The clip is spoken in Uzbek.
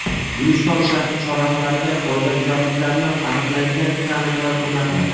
Guliston shahri chorrahalariga qoidabuzarliklarni aniqlaydigan kameralar o‘rnatiladi.